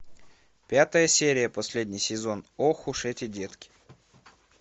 пятая серия последний сезон ох уж эти детки